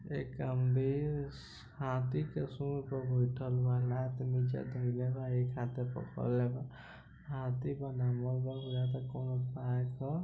एक आदमी हाथी के सुर पर बैठल बा लात नीचे धेएले बा एक हाथे पकड़ले बा हाथी बा नम्हर बा बुझाता कोनो पार्क ह।